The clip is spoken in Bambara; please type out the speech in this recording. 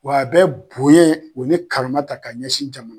Wa a bɛ bonyɛn o ni karama ta ka ɲɛsin jamana